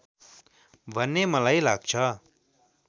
भन्ने मलाई लाग्छ